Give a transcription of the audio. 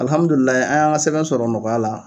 Alhamidulila an y'an ka sɛbɛn sɔrɔ nɔgɔya la.